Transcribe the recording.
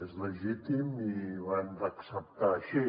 és legítim i ho hem d’acceptar així